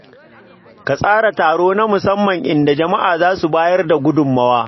Ka tsara taro na musamman inda jama’a za su bayar da gudummawa.